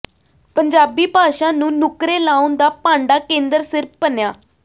ਪੰਜਾਬੀ ਭਾਸ਼ਾ ਨੂੰ ਨੁਕਰੇ ਲਾਉਣ ਦਾ ਭਾਂਡਾ ਕੇਂਦਰ ਸਿਰ ਭੰਨਿਆ